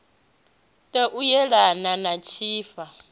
ṱo u yelana na tshifha